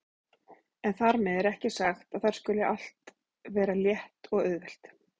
En þar með er ekki sagt að þar skuli allt vera létt og auðvelt.